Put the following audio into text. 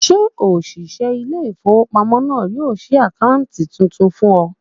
Ṣé òṣìṣẹ́ ilé-ìfowópamọ́sí náà yóò ṣí àkáǹtì tuntun fún ọ?